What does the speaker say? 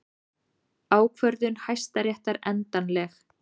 Ákvörðun Hæstaréttar endanleg